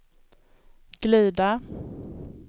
glida